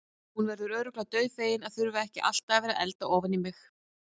Hún verður örugglega dauðfegin að þurfa ekki alltaf að vera að elda ofan í mig.